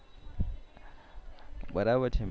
બરાબર છે ને